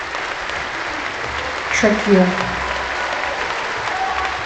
шакира